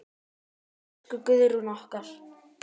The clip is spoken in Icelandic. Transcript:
Elsku Guðrún okkar.